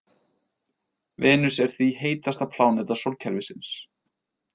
Venus er því heitasta pláneta sólkerfisins.